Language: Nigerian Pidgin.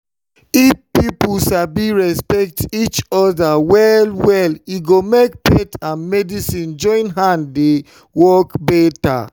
if people sabi respect each other well-well e go make faith and medicine join hand dey work better.